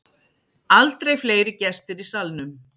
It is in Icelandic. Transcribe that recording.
Aldrei fleiri gestir í Salnum